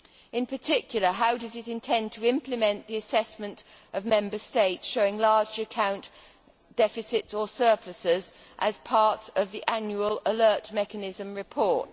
In particular, how does it intend to implement the assessment of Member States showing large account deficits or surpluses as part of the annual alert mechanism report?